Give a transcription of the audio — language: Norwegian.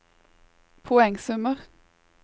poengsummer